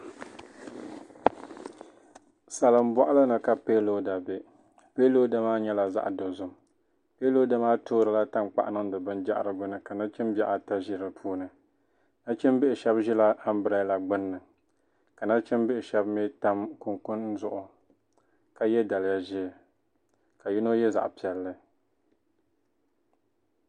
Salin bɔɣilini. kapiloder bɛ. piloder. maa. nyela. zaɣ' dozim. piloder. maa. toorila tankpaɣu. n. niŋ di. bin jahiriguni, ka nachimbihi ata zi di puuni. nachimbihi. sheb. zɛla ambrela. gbunni. ka nachimbihi sheb mi tam. kuŋkuni. zuɣu, ka. ye. daliya zɛɛ ka yino ye. zaɣ' piɛli.